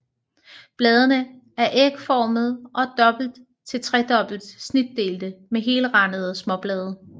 Bladene er ægformede og dobbelt til tredobbelt snitdelte med helrandede småblade